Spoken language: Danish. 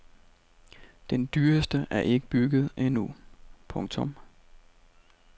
Den dyreste er ikke bygget endnu. punktum